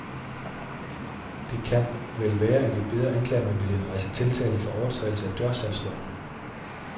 Det kan vel være, at vi beder anklagemyndigheden rejse tiltale for overtrædelse af dørsalgsloven.